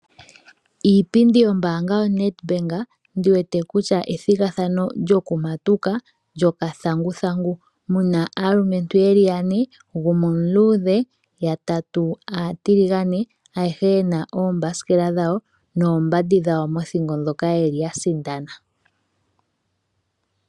Iipindi yombaanga yo Net Bank ndiwete kutya ethigandjano lyokumatuka lyokathanguthangu .Muna aalumentu yeli yane gumwe omuluudhe yatatu aatiligane ayehe yena ombasikela dhawo noombadi dhawo mothingo dhoka yeli yasindana